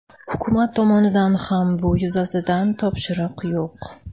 Hukumat tomonidan ham bu yuzasidan topshiriq yo‘q.